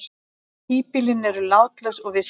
Híbýlin eru látlaus og vistleg.